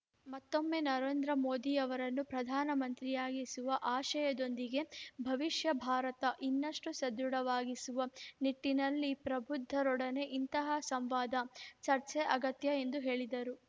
ಮತ್ತೊಮ್ಮೆ ನರೇಂದ್ರ ಮೋದಿಯವರನ್ನು ಪ್ರಧಾನ ಮಂತ್ರಿಯನ್ನಾಗಿಸುವ ಆಶಯದೊಂದಿಗೆ ಭವಿಷ್ಯ ಭಾರತ ಇನ್ನಷ್ಟು ಸದೃಢವಾಗಿಸುವ ನಿಟ್ಟಿನಲ್ಲಿ ಪ್ರಬುದ್ಥರೊಡನೆ ಇಂತಹ ಸಂವಾದ ಚರ್ಚೆ ಅಗತ್ಯ ಎಂದು ಹೇಳಿದರು